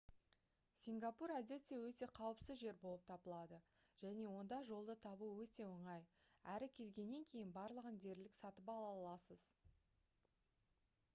сингапур әдетте өте қауіпсіз жер болып табылады және онда жолды табу өте оңай әрі келгеннен кейін барлығын дерлік сатып ала аласыз